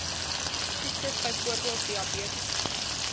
siektes byvoorbeeld diabetes